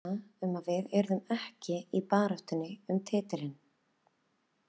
Allir voru að hugsa um að við yrðum ekki í baráttunni um titilinn.